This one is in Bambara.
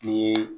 Ni ye